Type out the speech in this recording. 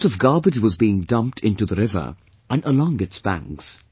A lot of garbage was being dumped into the river and along its banks